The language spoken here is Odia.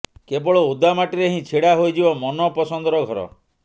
କେବଳ ଓଦା ମାଟିରେ ହିଁ ଛିଡା ହୋଇଯିବ ମନପସନ୍ଦର ଘର